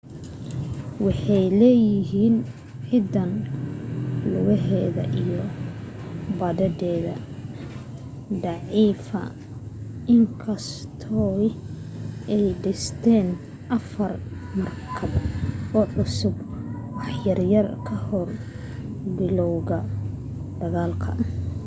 waxay lahaayeen ciidan lugeed iyo badeed daciifa in kastoo ay dhisteen afar markab oo cusub wax yar ka hor bilowga dagaalka